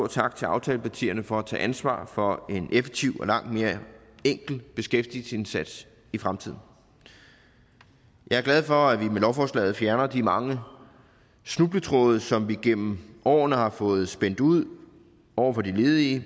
tak til aftalepartierne for at tage ansvar for en effektiv og langt mere enkel beskæftigelsesindsats i fremtiden jeg er glad for at vi med lovforslaget fjerner de mange snubletråde som vi igennem årene har fået spændt ud over for de ledige